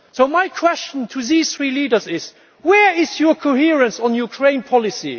So my question to these three leaders is where is your coherence on Ukraine policy?